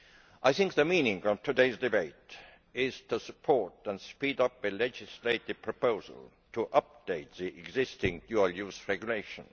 I think the meaning of today's debate is to support and speed up a legislative proposal to update the existing dual use regulation.